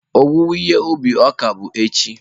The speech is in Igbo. Owuwe ihe ubi ọka bụ echi.